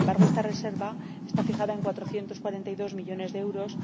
Sin embargo, esta reserva está fijada en 442 millones de euros